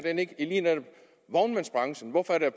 vognmandsbranchen hvorfor er der